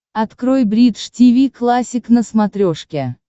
открой бридж тиви классик на смотрешке